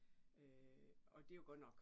Øh og det jo godt nok